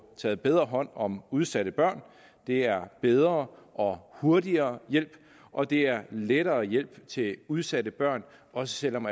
taget bedre hånd om udsatte børn det er bedre og hurtigere hjælp og det er lettere hjælp til udsatte børn også selv om